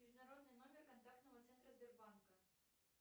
международный номер контактного центра сбербанка